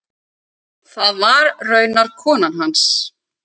Það var raunar konan hans.